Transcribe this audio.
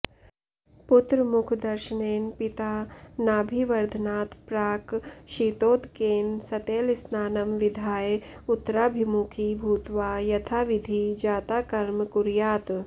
पुत्रमुखदर्शनेन पिता नाभिवर्धनात् प्राक् शीतोदकेन सतैलस्नानं विधाय उत्तराभिमुखी भूत्वा यथाविधि जाताकर्म कुर्यात्